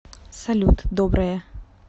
салют доброе